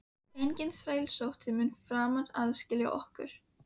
Enginn þrælsótti mun framar aðskilja okkur.